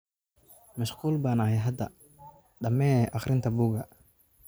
Mashquul baan ahay hadda, dhammee akhrinta buugga